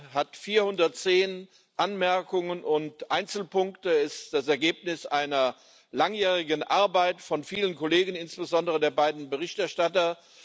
Er umfasst 410 Anmerkungen und Einzelpunkte. Er ist das Ergebnis einer langjährigen Arbeit von vielen Kollegen, insbesondere der beiden Berichterstatter.